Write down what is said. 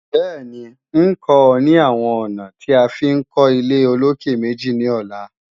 Bẹ́ẹ̀ni, ń kọ́ ọ ní àwọn ọ̀nà tí a fi ń kọ́ ilé-olókè-méjì ní ọ̀la